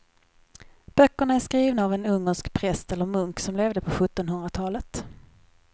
Böckerna är skrivna av en ungersk präst eller munk som levde på sjuttonhundratalet.